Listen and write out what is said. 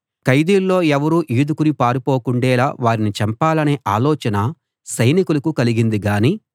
ఖైదీల్లో ఎవరూ ఈదుకుని పారిపోకుండేలా వారిని చంపాలనే ఆలోచన సైనికులకు కలిగింది గాని